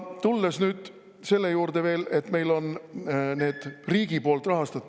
Tulen nüüd veel selle juurde, et meil on riigi poolt rahastatavad …